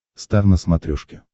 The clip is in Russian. стар на смотрешке